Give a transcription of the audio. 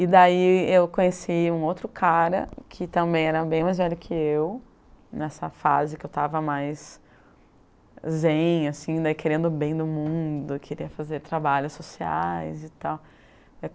E daí eu conheci um outro cara, que também era bem mais velho que eu, nessa fase que eu estava mais zen assim, querendo o bem do mundo, queria fazer trabalhos sociais e tal.